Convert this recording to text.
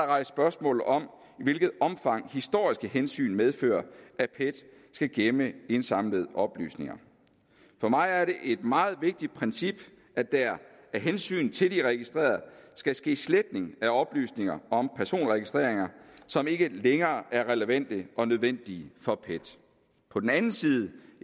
rejst spørgsmål om i hvilket omfang historiske hensyn medfører at pet skal gemme indsamlede oplysninger for mig er det et meget vigtigt princip at der af hensyn til de registrerede skal ske sletning af oplysninger om personregistreringer som ikke længere er relevante og nødvendige for pet på den anden side